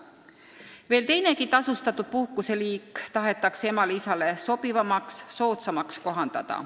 Veel teinegi tasustatud puhkuse liik tahetakse emale ja isale sobivamaks, soodsamaks teha.